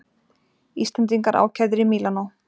Íslendingar ákærðir í Mílanó